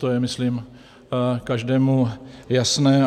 To je myslím každému jasné.